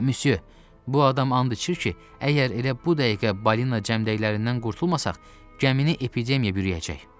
Müsyö, bu adam and içir ki, əgər elə bu dəqiqə balina cəmdəklərindən qurtulmasaq, gəmini epidemiya bürüyəcək.